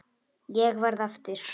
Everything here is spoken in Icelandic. Ég verð eftir.